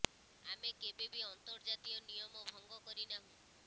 ଆମେ କେବେ ବି ଅନ୍ତର୍ଜାତୀୟ ନିୟମ ଭଙ୍ଗ କରି ନାହୁଁ